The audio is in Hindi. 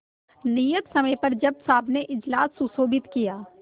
नियत समय पर जज साहब ने इजलास सुशोभित किया